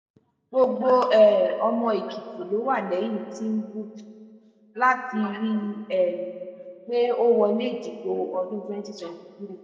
gbogbo um ọmọ èkìtì ló wà lẹ́yìn tìǹbù láti rí um i pé ó wọlé ìdìbò ọdún twenty twenty three